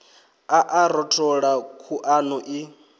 a a rothola khuḓano i